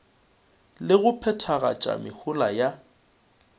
le go phethagatša mehola ya